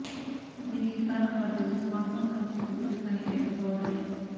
దీనికి కారణం వారి దగ్గర స్మార్ట్ ఫోన్ కానీ కంప్యూటర్ కానీ లేకపోవడమే